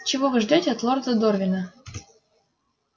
чего вы ждёте от лорда дорвина